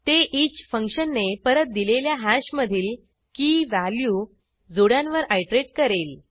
ते ईच फंक्शनने परत दिलेल्या हॅशमधील keyvalueजोड्यांवर आयटरेट करेल